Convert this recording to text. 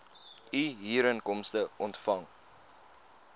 u huurinkomste ontvang